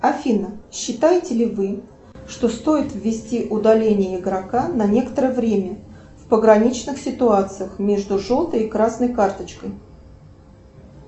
афина считаете ли вы что стоит ввести удаление игрока на некоторое время в пограничных ситуациях между желтой и красной карточкой